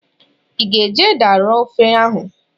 I ga-eji ede arọ ofe ahụ?